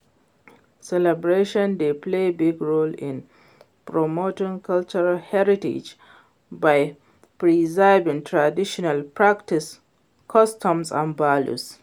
celebration dey play big role in promoting cultural heritage by preserving traditional practices, customs and values.